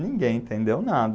Ninguém entendeu nada.